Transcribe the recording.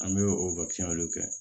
An bɛ o kɛ